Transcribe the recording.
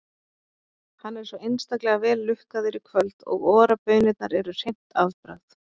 Hann er svo einstaklega vel lukkaður í kvöld og Ora-baunirnar eru hreint afbragð.